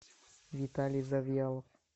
виталий завьялов